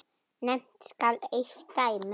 Nefnt skal eitt dæmi.